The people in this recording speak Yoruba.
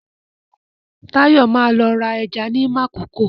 Táyọ̀ ma lọ ra ẹja ní Makòko